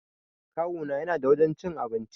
Kawuna yana da wajan cin abinci